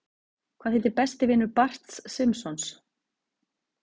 Hvað heitir besti vinur Barts Simpsons?